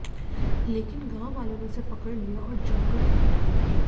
लेकिन गांव वालों ने उसे पकड़ लिया और जमकर पिटा